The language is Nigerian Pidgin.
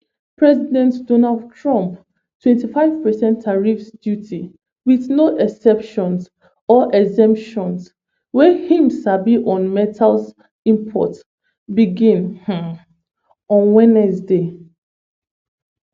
president donald trump 25 percent tariffs duty "wit no exceptions or exemptions" wey im sama on metals import begin um on wednesday.